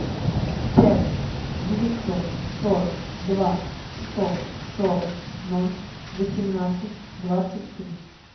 пять девятьсот сорок два сто сорок ноль восемнадцать двадцать три